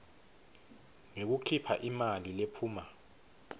ngekukhipha imali lephuma